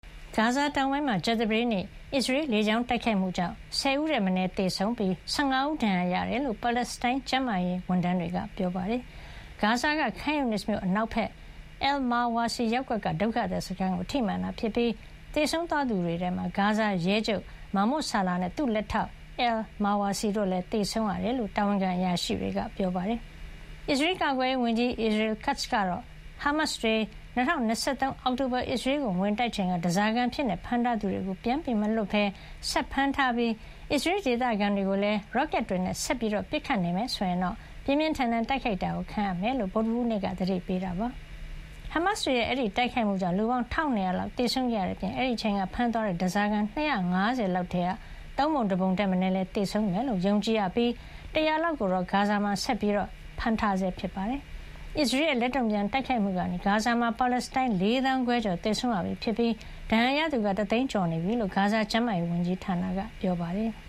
ဂါဇာ တောင်ပိုင်းမှာ ကြာသပတေးနေ့ အစ္စရေး လေကြောင်းတိုက်ခိုက်မှုကြောင့် ၁၀ ဦးထက် မနည်း သေဆုံးပြီး ၁၅ ဦး ဒဏ်ရာရခဲ့တယ်လို့ ပါလက်စတိုင်း ကျန်းမာရေးဝန်ထမ်း တွေက ပြောပါတယ်။ ဂါဇာ Khan Younis မြို့ အနောက်ဘက် အယ်လ် မာဝါစီ ရပ်ကွက်က ဒုက္ခသည်စခန်းကို ထိမှန်ခဲ့တာ ဖြစ်ပြီး သေဆုံးသွားသူ တွေထဲမှာ ဂါဇာရဲချုပ် မာမွတ် ဆာလာ နဲ့ သူ့လက်ထောက် အယ်လ် မာဝါစီ တို့လည်း သေဆုံးခဲ့ရတယ်လို့ တာဝန်ခံ အရာရှိတွေက ပြောပါတယ်။ အစ္စရေးကာကွယ်ရေး ဝန်ကြီး Israel Katz ကတော့ ဟားမတ်စ်တွေ ၂၀၂၃ အောက်တိုဘာ အစ္စရေးကိုဝင်တိုက်ချိန်က ဓါးစာခံအဖြစ် ဖမ်းထားသူတွေကို ပြန်မလွှတ်ပဲ ဆက်ဖမ်းထားပြီး အစ္စရေးဒေသခံ တွေကို ရော့ကက်တွေနဲ့ ဆက်လက်ပစ်ခတ်နေမယ် ဆိုရင် ပြင်းပြင်းထန်ထန် တိုက်ခိုက်တာ ခံရမှာဖြစ်ကြောင်း ဗုဒ္ဓဟူး နေ့က သတိပေးခဲ့တာပါ။ ဟားမတ်စ်တွေရဲ့ အဲဒီ တိုက်ခိုက်မှုကြောင့် လူပေါင်း ၁၂၀၀ လောက်သေဆုံးခဲ့ရတဲ့ အပြင် အဲဒီအချိန်က ဖမ်းသွားတဲ့ ဓါးစာခံ ၂၅၀ လောက်ထဲက သုံးပုံ တပုံ ထက်မနည်း သေဆုံးသွားမယ်လို့ ယုံကြည်ရပြီး ၁၀၀ လောက်ကိုတော့ ဂါဇာမှာ ဆက်ပြီး အဖမ်းခံနေရဆဲ ဖြစ်ပါတယ်။ အစ္စရေးရဲ့ လက်တုံ့ပြန် တိုက်ခိုက်မှုကနေ ဂါဇာမှာ ပါလက်စတိုင်း ၄သောင်းခွဲကျော် သေဆုံးရပြီ ဖြစ်ပြီး ဒဏ်ရာကသူက ၁ သိန်းကျော်နေပြီလို့ ဂါဇာ ကျန်းမာရေး ဝန်ကြီးဌာနက ပြောပါတယ်။